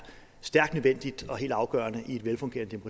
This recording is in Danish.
stærkt nødvendigt og helt afgørende i et velfungerende